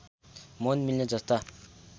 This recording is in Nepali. मन मिल्ने जस्ता